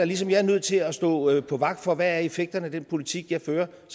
ligesom jeg er nødt til at stå vagt om hvad effekterne er af den politik jeg fører